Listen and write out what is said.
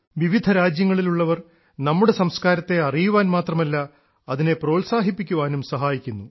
വിവിധ രാജ്യങ്ങളിലുള്ളവർ നമ്മുടെ സംസ്കാരത്തെ അറിയുവാൻ മാത്രമല്ല അതിനെ പ്രോത്സാഹിപ്പിക്കുവാനും സഹായിക്കുന്നു